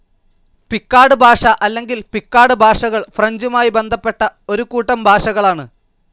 Picard ഭാഷ അല്ലെങ്കിൽ Picard ഭാഷകൾ ഫ്രഞ്ചുമായി ബന്ധപ്പെട്ട ഒരു കൂട്ടം ഭാഷകളാണ്.